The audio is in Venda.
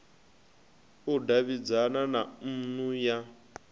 u davhidzana na nnu ya